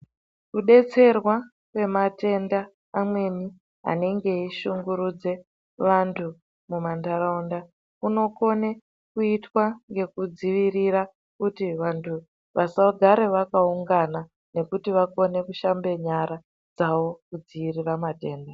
Kudetserwa kwematenda amweni anenge eyishungurudze vantu mumandarawunda, kunokone kuyitwa ngekudzivirira kuti vantu vasagare vakawungana nekuti vakone kushambe nyara dzawo kudziyirira matenda.